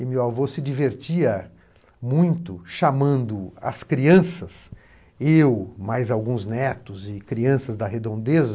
E meu avô se divertia muito chamando as crianças, eu, mais alguns netos e crianças da redondeza,